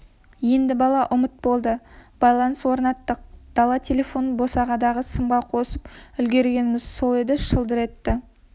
енді бала ұмыт болды байланыс орнаттық дала телефонын бағанадағы сымға қосып үлгергеніміз сол еді шылдыр етті